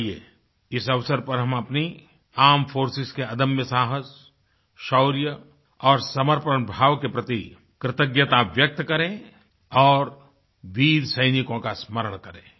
आइये इस अवसर पर हम अपनी आर्मेड फोर्सेस के अदम्य साहस शौर्य और समर्पण भाव के प्रति कृतज्ञता व्यक्त करें और वीर सैनिको का स्मरण करें